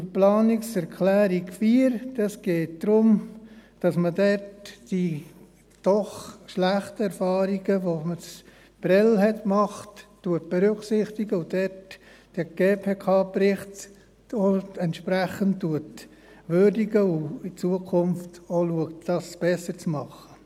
Zur Planungserklärung 4: Dort geht es darum, dass man die doch schlechten Erfahrungen, die man in Prêles gemacht hat, berücksichtigt, dabei den GPK-Bericht entsprechend würdigt und zukünftig versucht, dies besser zu machen.